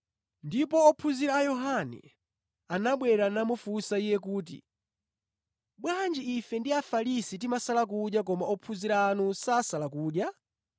Ndipo ophunzira a Yohane anabwera namufunsa Iye kuti, “Bwanji ife ndi Afarisi timasala kudya koma ophunzira anu sasala kudya?”